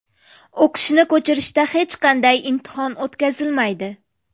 O‘qishni ko‘chirishda hech qanday imtihon o‘tkazilmaydi.